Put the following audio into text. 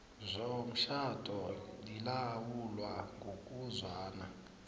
yomtjhado lilawulwa ngokuzwana